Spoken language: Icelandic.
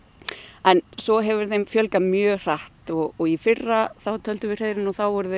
en svo hefur þeim fjölgað mjög hratt og í fyrra töldum við hreiðrin og þá voru þau